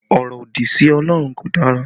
Ọrọ òdì sí Ọlọ́run kò dára